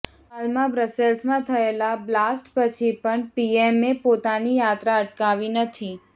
હાલમાં બ્રસેલ્સમાં થયેલા બ્લાસ્ટ પછી પણ પીએમએ પોતાની યાત્રા અટકાવી નથી